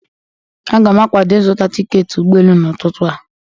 Aga m akwado ịzụta tiketi ụgbọ elu n'ututu a